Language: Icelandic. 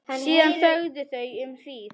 Síðan þögðu þau um hríð.